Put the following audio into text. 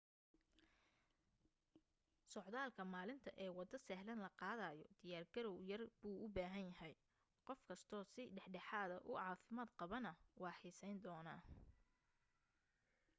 socdaalka maalinta ee waddo sahlan la qaadayo diyaar garaw yar buu u baahan yahay qof kasto si dhexdhexaada u caafimaad qabaana waa xiisayn doonaa